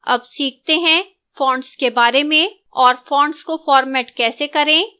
अब सीखते हैं fonts के बारे में और fonts को format कैसे करें